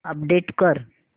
update कर